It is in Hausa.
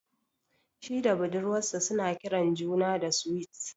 Shi da budurwar sa suna kiran juna da "Sweet ".